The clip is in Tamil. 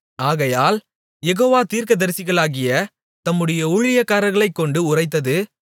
ஆகையால் யெகோவா தீர்க்கதரிசிகளாகிய தம்முடைய ஊழியக்காரர்களைக் கொண்டு உரைத்தது